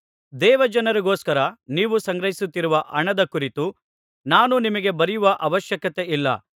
ದೇವಜನರಿಗೋಸ್ಕರ ನೀವು ಸಂಗ್ರಹಿಸುತ್ತಿರುವ ಹಣದ ಕುರಿತು ನಾನು ನಿಮಗೆ ಬರೆಯುವ ಅವಶ್ಯಕತೆಯಿಲ್ಲ